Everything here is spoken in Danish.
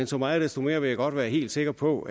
så meget desto mere vil jeg godt være helt sikker på